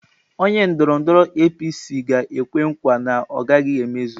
Onye ndọrọndọrọ APC ga-ekwe nkwa na ọ gaghị emezu.